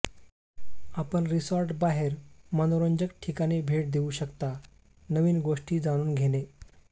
आपण रिसॉर्ट बाहेर मनोरंजक ठिकाणी भेट देऊ शकता नवीन गोष्टी जाणून घेणे